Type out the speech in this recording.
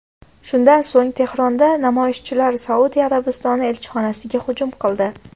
Shundan so‘ng Tehronda namoyishchilar Saudiya Arabistoni elchixonasiga hujum qildi.